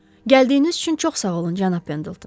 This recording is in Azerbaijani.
Gəldiyiniz üçün çox sağ olun, cənab Pendelton.